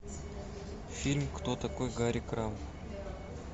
фильм кто такой гарри крамб